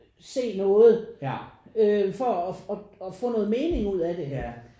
Se noget øh for at få noget mening ud af det